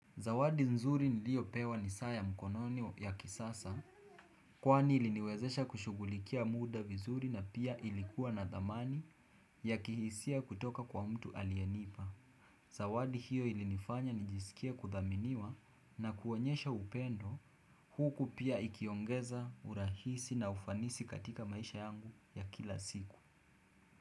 Zawadi nzuri niliopewa ni saa ya mkononi ya kisasa kwani iliniwezesha kushugulikia muda vizuri na pia ilikuwa na dhamani ya kihisia kutoka kwa mtu alienipa. Zawadi hiyo ilinifanya nijiskie kudhaminiwa na kuonyesha upendo huku pia ikiongeza urahisi na ufanisi katika maisha yangu ya kila siku.